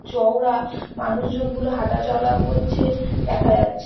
চওড়া মানুষ জন গুলো হাটা চলাও করছে দেখা যাচ্ছে।